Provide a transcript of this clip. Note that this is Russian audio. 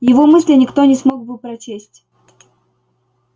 его мысли никто не смог бы прочесть